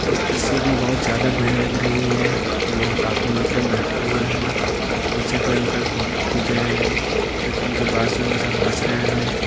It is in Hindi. इस तस्वीर मे बहुत ज्यादा भीड़ लग रही है लोग काफी मात्रा मे बैठे हुए है पीछे कोई अंकल फोटो खींच रहे है जो की उनके बात सुनके सब हंस रहे है।